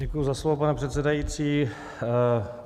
Děkuji za slovo, pane předsedající.